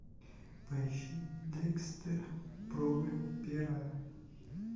поищи декстер проба пера